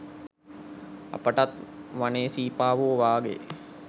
අපිටත් වනේ සීපාවො වාගේ